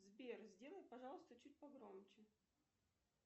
сбер сделай пожалуйста чуть погромче